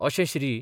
अशें श्री.